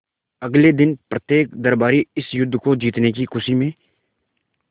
अगले दिन प्रत्येक दरबारी इस युद्ध को जीतने की खुशी में